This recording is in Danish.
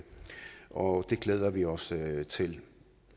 og det glæder vi os til